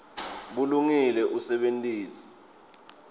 bulungile usebenitse